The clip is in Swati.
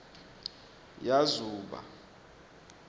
yazuba